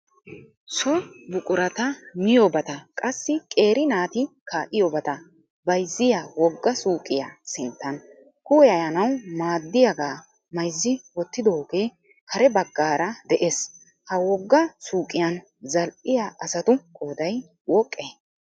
So buqurata miyobata qassi qeeri naati kaa"iyoobata bayzziyaa wogga suyqiyaa sinttan kuwayanawu maaddiiyaaga mayzzi wottidoogee kare baggaara de'ees. Ha wogga suyqiyan zal"iyaa asatu qooday woqqee?